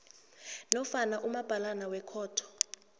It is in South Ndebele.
nofana umabhalana wekhotho